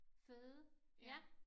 Føde ja